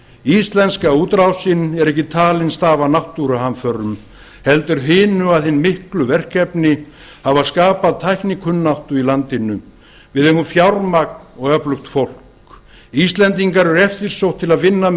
íslenska útrásin er ekki talin stafa af náttúruhamförum heldur því að hin miklu verkefni að hafa skapað tæknikunnáttu í landinu við eigum fjármagn og öflugt fólk íslendingar eru eftirsóttir til að vinna með